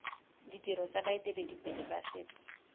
ditiro tsa baeteledipele ba setso